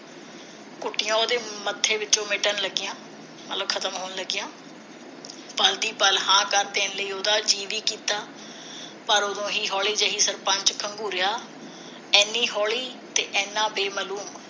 ਉਸਦੇ ਮੱਥੇ ਵਿਚੋਂ ਮਿਟਣ ਲੱਗੀਆਂ ਗੱਲ ਖਤਮ ਹੋਣ ਲੱਗੀਆਂ ਪਲ ਦੀ ਪਲ ਹਾਂ ਕਰ ਦੇਣ ਲਈ ਉਸਦਾ ਜੀਅ ਨਾ ਕੀਤਾ ਪਰ ਉਦੋਂ ਹੀ ਹੌਲੀ ਜਿਹੀ ਸਰਪੰਚ ਖਗੂੰਰਿਆ ਇਨੀ ਹੌਲੀ ਤੇ ਇੰਨਾ ਬੇਮਲੂਮ ਜਿਵੇ